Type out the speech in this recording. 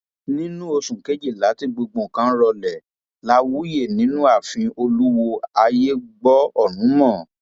nínú oṣù kejìlá tí gbogbo nǹkan rọlẹ la wuye nínú ààfin olùwọọ ayé gbọ ọrun mọ